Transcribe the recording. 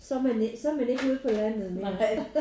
Så er man ikke så er man ikke ude på landet mere